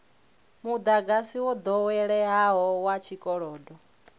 mudagasi wo doweleaho wa tshikolodo